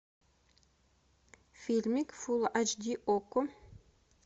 фильмик фул айч ди окко